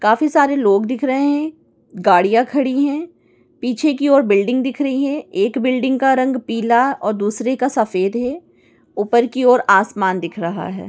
काफी सारे लोग दिख रहे है गड़िया खड़ी है पीछे की ओर बिल्डिंग दिख रही है एक बिल्डिंग का रंग पीला और दूसरे का सफेद है ऊपर की ओर आसमान दिख रहा है।